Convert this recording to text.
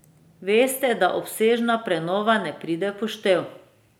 Veste, da obsežna prenova ne pride v poštev.